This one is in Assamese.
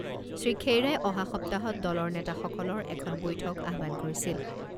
শ্ৰীখেইৰাই অহা সপ্তাহত দলৰ নেতাসকলৰ এখন বৈঠক আহ্বান কৰিছিল।